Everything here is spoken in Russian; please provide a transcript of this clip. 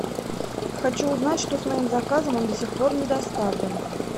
хочу узнать что с моим заказом он до сих пор не доставлен